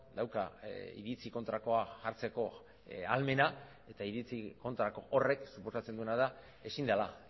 dauka iritzi kontrakoa jartzeko ahalmena eta iritzi kontrako horrek suposatzen duena da ezin dela